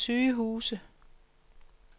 sygehuse